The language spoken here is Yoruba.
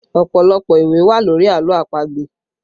Ọpọlọpọ ìwé wà lórí àlọ́ àpagbè